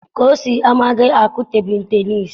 Kosi amaghị akụ tebụl tenịịsị.